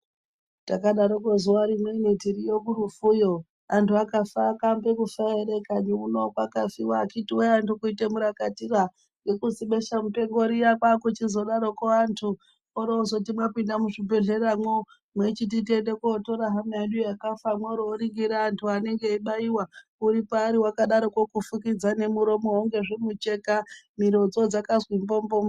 Takadarokwo zuwa rimweni tiriyo kurufu yo, antu akafa akambe kufa ere kani. Uno kwakafiwa akhiti wee antu kuite murakatira ngekuzibesha mupengo riyani kwakuchizodaroko antu oroozoti mwapinde muzvibhedhlera mwo mweyichiti tiyende kotore hama yedu yakafa, mworo mworingire antu anenge eyibayiwa uri paari wakadarokwo kufukidza nemuromo ngezvimucheka miro dzakazi mbombombo.